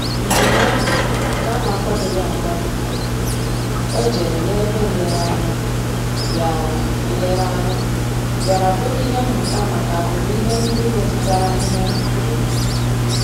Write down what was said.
Njèm áhụ́ nke á nà-ákwàdòghị́ ákwádò éjérè n’ébè nlèrèànyà, bìàrà nlèrèànyà, bìàrà bụ́rụ́ ìhè mmụ́tà màkà àgbụ̀rụ̀ ìhè ndị́ métụ́tàrà àhị́hị́à gbúrù-gbúrù.